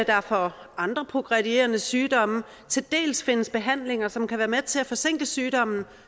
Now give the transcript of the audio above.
der for andre progredierende sygdomme til dels findes behandlinger som kan være med til at forsinke sygdommen